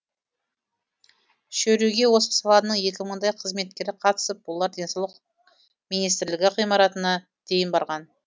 шеруге осы саланың екі мыңдай қызметкері қатысып олар денсаулық министрлігі ғимаратына дейін барған